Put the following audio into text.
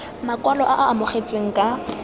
makwalo e e amogetsweng ka